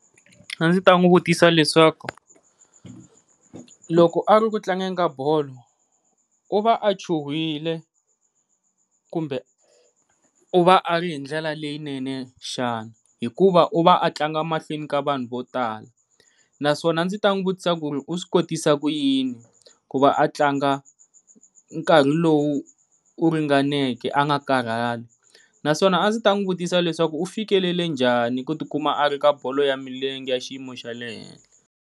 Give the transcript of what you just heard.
A ndzi ta n'wi vutisa leswaku loko a ri ku tlangeni ka bolo u va a chuhile kumbe u va a ri hi ndlela leyinene xana, hikuva u va a tlanga mahlweni ka vanhu vo tala. Naswona a ndzi ta n'wi vutisa ku ri u swi kotisa ku yini ku va a tlanga nkarhi lowu u ringaneke a va nga karhali, naswona a ndzi n'wi vutisa leswaku u fikelele njhani ku ti kuma a ri ka bolo ya milenge xiyimo xa le henhla.